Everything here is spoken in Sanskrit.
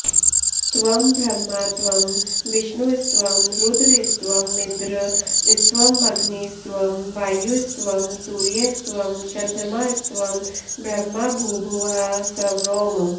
त्वं ब्रह्मा त्वं विष्णुस्त्वं रुद्रस्त्वमिन्द्रस्त्वमग्निस्त्वं वायुस्त्वं सूर्यस्त्वं चन्द्रमास्त्वं ब्रह्म भूभुवःस्वरोम्